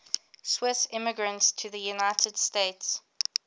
swiss immigrants to the united states